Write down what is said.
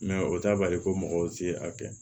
o t'a bali ko mɔgɔw tɛ a kɛ